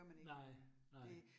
Nej, nej